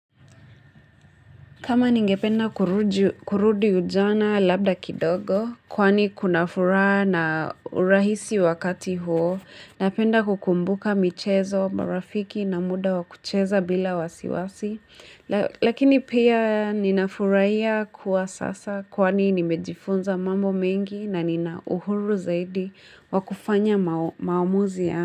Kama ningependa kurudi ujana labda kidogo, kwani kunafuraha na urahisi wakati huo, napenda kukumbuka michezo, marafiki na muda wa kucheza bila wasiwasi, lakini pia ninafurahia kwa sasa kwani nimejifunza mambo mengi na nina uhuru zaidi wa kufanya maamuzi ya.